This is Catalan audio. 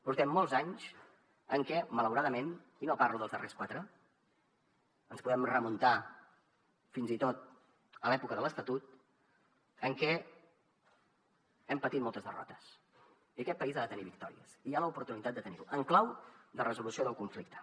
portem molts anys en què malauradament i no parlo dels darrers quatre ens podem remuntar fins i tot a l’època de l’estatut hem patit moltes derrotes i aquest país ha de tenir victòries i hi ha l’oportunitat de tenir ne en clau de resolució del conflicte